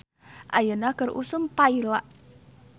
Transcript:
"Ayeuna keur usum paila "